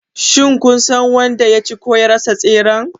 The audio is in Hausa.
Shin kun san wanda ya ci / ya rasa tseren?